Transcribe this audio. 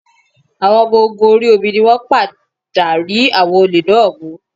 Àwọn ọmọ ogun orí omi ni wọ́n padà rí àwọn olè náà mú